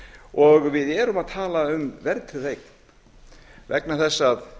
og við erum að tala um verðtryggða eign vegna þess að